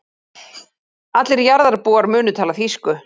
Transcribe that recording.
Allir jarðarbúar munu tala þýsku.